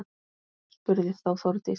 Spurði þá Þórdís: